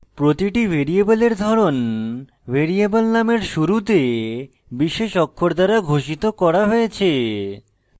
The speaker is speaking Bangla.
প্রতিটি ভ্যারিয়েবলের ধরন ভ্যারিয়েবল নামের শুরুতে বিশেষ অক্ষর দ্বারা ঘোষিত করা হয়েছে